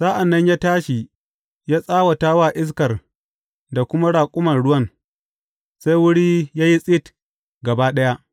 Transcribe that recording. Sa’an nan ya tashi ya tsawata wa iskar da kuma raƙuman ruwan, sai wuri ya yi tsit gaba ɗaya.